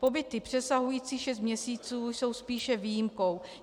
Pobyty přesahující šest měsíců jsou spíše výjimkou.